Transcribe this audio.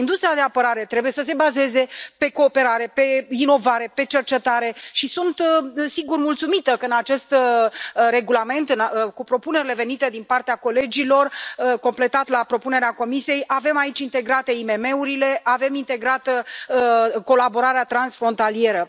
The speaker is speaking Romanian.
Industria de apărare trebuie să se bazeze pe cooperare, pe inovare, pe cercetare și sunt, sigur, mulțumită că, în acest regulament, cu propunerile venite din partea colegilor, în completare la propunerea Comisiei, avem aici integrate IMM urile, avem integrată colaborarea transfrontalieră.